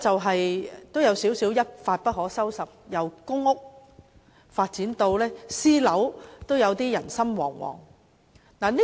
事件有一點一發不可收拾之勢，由公屋發展至私人樓宇，居民無不人心惶惶。